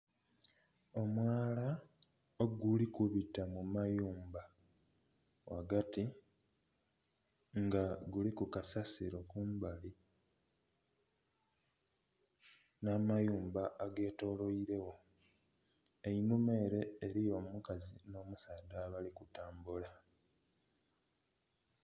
Omwala oguli kubita mu mayumba ghagati nga guliku kasasiro kumbali nh'amayumba agetoloire gho. Einhuma ere eriyo omukazi n'omusaadha abali kutambula.